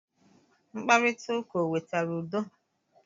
Mkparita ụka o wetara udo?